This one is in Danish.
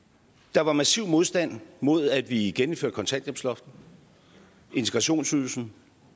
der var massiv modstand mod at vi gennemførte kontanthjælpsloftet integrationsydelsen